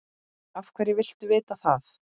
Af hverju viltu vita það?